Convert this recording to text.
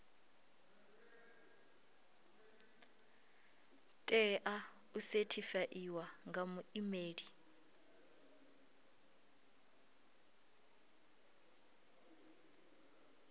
tea u sethifaiwa nga muimeli